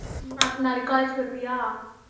ஆஹ் நாளை college க்கு வருவியா?